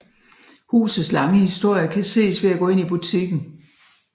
Husets lange historie kan ses ved at gå ind i butikken